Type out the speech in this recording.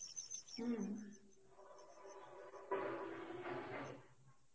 হম